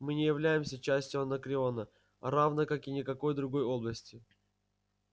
мы не являемся частью анакреона равной как и никакой другой области